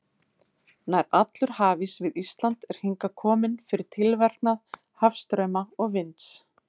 Nær allur hafís við Ísland er hingað kominn fyrir tilverknað hafstrauma og vinds.